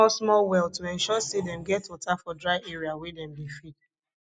dem dey dig smallsmall well to ensure say dem get water for dry area wey dem dey feed